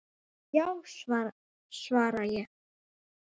Já, svara ég.